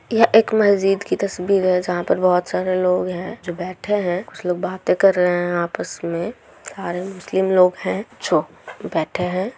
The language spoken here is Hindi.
यह एक मस्जिद की तस्वीर हैं जहां पर बहुत सारे लोग है उसे बाते कर आपस मे आर इसलिए लोग है जो बाइटे हैं।